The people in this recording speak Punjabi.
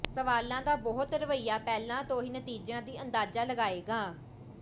ਸਵਾਲਾਂ ਦਾ ਬਹੁਤ ਰਵੱਈਆ ਪਹਿਲਾਂ ਤੋਂ ਹੀ ਨਤੀਜਿਆਂ ਦੀ ਅੰਦਾਜ਼ਾ ਲਗਾਏਗਾ